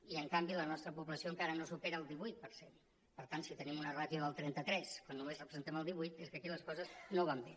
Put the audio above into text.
i en canvi la nostra població encara no supera el divuit per cent per tant si tenim una ràtio del trenta tres quan només representem el divuit és que aquí les coses no van bé